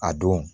A don